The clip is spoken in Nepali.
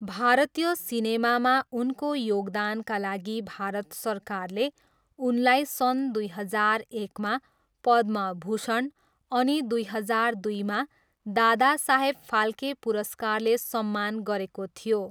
भारतीय सिनेमामा उनको योगदानका लागि भारत सरकारले उनलाई सन् दुई हजार एकमा पद्मभूषण अनि दुई हजार दुईमा दादासाहेब फाल्के पुरस्कारले सम्मान गरेको थियो।